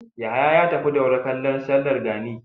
Yahaya ya tafi Daura kallo sallar gani.